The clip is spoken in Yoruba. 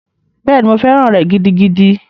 Bẹ́ẹ̀ni, mo fẹ́ràn rẹ̀ gidigidi.